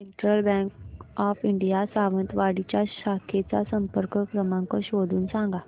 central Bank of India Sawantwadi च्या शाखेचा संपर्क क्रमांक शोधून सांग